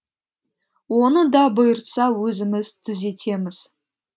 оны да бұйыртса өзіміз түзетеміз